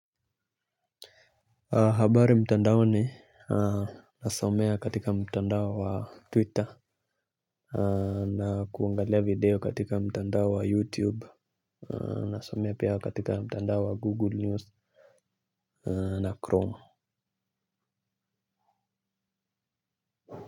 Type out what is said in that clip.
Habari mtandaoni nasomea katika mtandao wa twitter na kuangalia video katika mtandao wa youtube nasomea katika mtandao wa google news na chrome.